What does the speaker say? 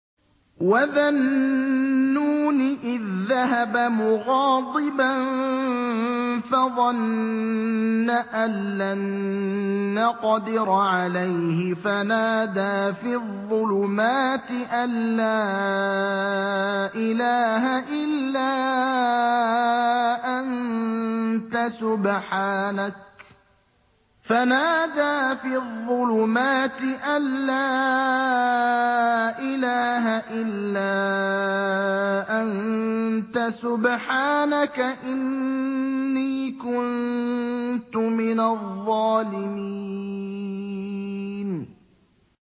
وَذَا النُّونِ إِذ ذَّهَبَ مُغَاضِبًا فَظَنَّ أَن لَّن نَّقْدِرَ عَلَيْهِ فَنَادَىٰ فِي الظُّلُمَاتِ أَن لَّا إِلَٰهَ إِلَّا أَنتَ سُبْحَانَكَ إِنِّي كُنتُ مِنَ الظَّالِمِينَ